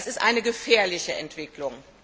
Das ist eine gefährliche Entwicklung.